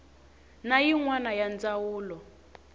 na yin wana ya ndzawulo